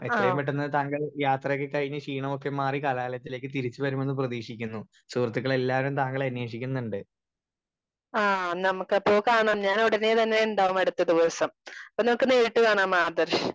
Speaker 2 ആഹ് ആഹ് നമുക്ക് അപ്പൊ കാണാം ഞാൻ ഉടനെ തന്നെ ഉണ്ടാകും അടുത്ത ദിവസം അപ്പോ നമ്മക്ക് നേരിട്ട് കാണാ ആദർശ്.